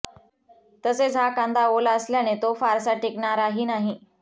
तसेच हा कांदा ओला असल्याने तो फारसा टिकणाराही नाही